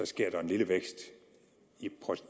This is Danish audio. sker en lille vækst